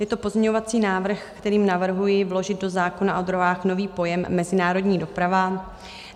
Je to pozměňovací návrh, kterým navrhuji vložit do zákona o dráhách nový pojem mezinárodní doprava.